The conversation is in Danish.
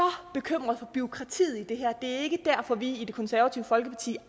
bekymret for bureaukratiet i det her det er ikke derfor at vi i det konservative folkeparti